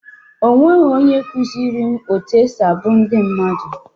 Nobody taught me how to sing folk songs.